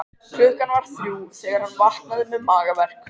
Klukkan var þrjú þegar hann vaknaði með magaverk.